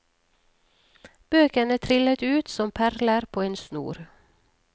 Bøkene trillet ut som perler på en snor.